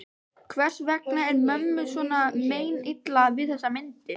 Hvers vegna er mömmu svona meinilla við þessar myndir?